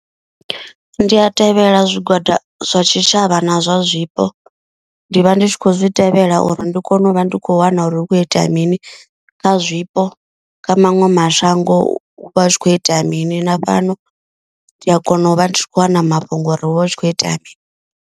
Ndi a tevhela zwigwada zwa tshitshavha na zwa zwipo ndi vha ndi tshi khou zwi tevhela uri ndi kone u vha ndi khou wana uri hukho itea mini kha zwipo. Kha maṅwe mashango hu vha hu khou itea mini na fhano ndi a kona u vha ndi khou wana mafhungo uri hu vha hu tshi khou itea mini.